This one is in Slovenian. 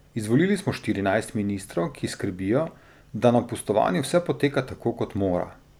Izvolili smo štirinajst ministrov, ki skrbijo, da na pustovanju vse poteka tako, kot mora.